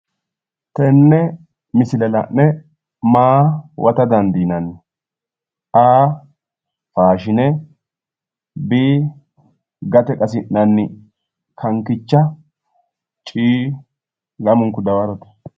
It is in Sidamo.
Tenne misile la'ne maa huwata dandiinanni? A/faashine B/gate qasinanni kankicha C/lamunku daworote